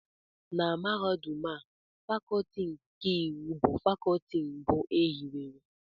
Na Mahadum a Fakọọti nke iwu bụ Fakọọti mbụ e hiwere